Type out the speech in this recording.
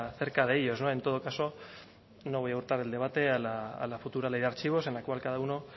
cerca de ellos en todo caso no voy a el debate a la futura ley de archivos en la cual cada uno